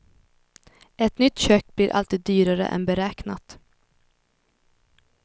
Ett nytt kök blir alltid dyrare än beräknat.